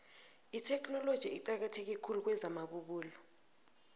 itheknoloji iqakatheke khulu kwezamabubulo